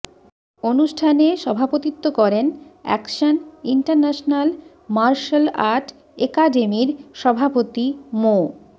অনুষ্ঠানে সভাপতিত্ব করেন অ্যাকশন ইন্টারন্যাশনাল মার্শাল আর্ট একাডেমির সভাপতি মো